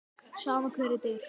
Sama hver þetta er.